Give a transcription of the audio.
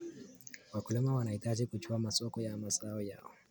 Wakulima wanahitaji kujua masoko ya mazao yao.